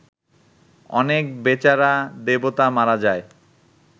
অনেক বেচারা দেবতা মারা যায়